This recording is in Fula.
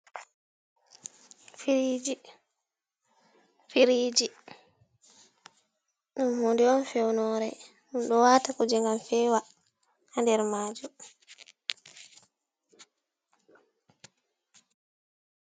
Firiji firiji mod on fewnore do wata kuje gam fewa ha nder maju.